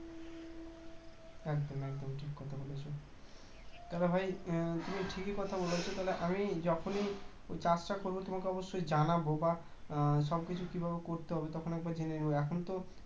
একদম একদম ঠিক কথা বলেছো তাহলে ভাই তুমি ঠিকই কথা বলেছো তাহলে আমি যখনই ওই কাজটা আমি করবো তোমাকে অবশ্যই জানাবো বা হম সবকিছু কিভাবে করতে হবে তখন একবার জেনে নেবো এখন তো